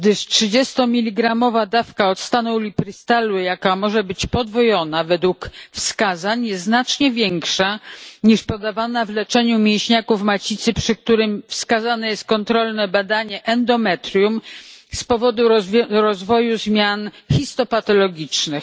Trzydziestomiligramowa dawka octanu uliprystalu, jaka może być podwojona według wskazań, jest bowiem znacznie większa niż podawana w leczeniu mięśniaków macicy, przy których wskazane jest kontrolne badanie endometrium z powodu rozwoju zmian histopatologicznych.